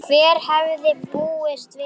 Hver hefði búist við þessu??